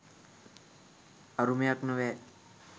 අරුමයක් නොවේ.